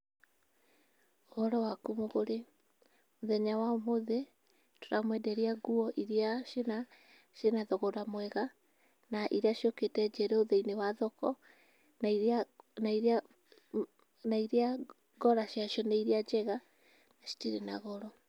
Ũhoro waku mũgũri, mũthenya wa ũmũthĩ, tũramwenderia nguo iria cĩina cĩina thogora mwega, na iria ciũkĩte njerũ thĩinĩ wa thoko na iria na iria na iria ngora ciacio nĩ iria njega citirĩ na goro.